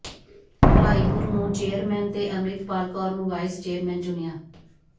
ਭਲਾਈਪੁਰ ਨੂੰ ਚੇਅਰਮੈਨ ਤੇ ਅੰਮਿ੍ਤਪਾਲ ਕੌਰ ਨੂੰ ਵਾਈਸ ਚੇਅਰਮੈਨ ਚੁਣਿਆ